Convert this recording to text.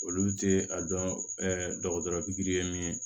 Olu tɛ a dɔn dɔgɔtɔrɔ ye min ye